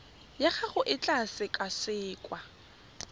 ya gago e tla sekasekwa